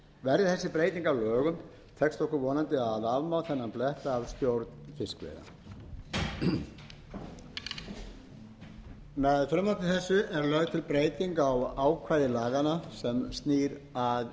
verði þessi breyting að lögum tekst okkur vonandi að afmá þennan blett af stjórn fiskveiða með frumvarpi þessu er lögð til breyting á ákvæði laganna sem snýr að